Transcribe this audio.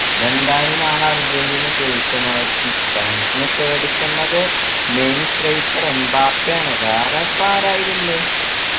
അതെന്തായാലും നാളെ അർജൻറീന ജയിക്കുമായിരിക്കും ഫ്രാൻസിനെ പേടിക്കേണ്ടത് main striker എം ബാപ്പയാണ് വേറെ ആരാ ഇപ്പോ അയിലുള്ളേ